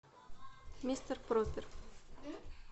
мистер пропер